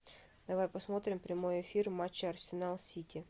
давай посмотрим прямой эфир матча арсенал сити